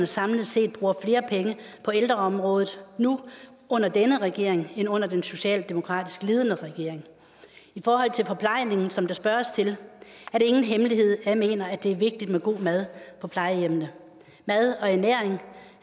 samlet set bruger flere penge på ældreområdet nu under denne regering end under den socialdemokratisk ledede regering i forhold til forplejningen som der spørges til er det ingen hemmelighed at jeg mener at det er vigtigt med god mad på plejehjemmene mad og ernæring